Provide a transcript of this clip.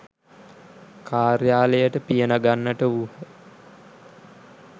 කාර්යාලයට පිය නගන්නට වූහ.